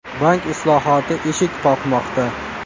Bank islohoti eshik qoqmoqda.